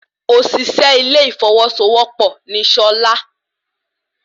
Òsìsé ilé ìfọwọ́sowọ́pọ̀ ni Sola